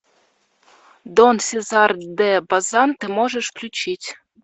ы